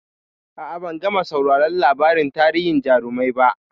A'a, ban gama sauraron labarin tarihin jarumai ba.